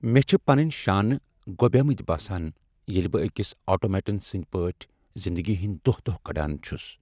مےٚ چھ پنٕنۍ شانہٕ گۄبیمٕتۍ باسان ییٚلہ بہٕ أکس آٹومیٹن سٕنٛدۍ پٲٹھۍ زندگی ہنٛد دۄہ دۄہ کڑان چھس۔